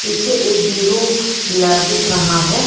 पीछे एक बिरु दिख रहा है।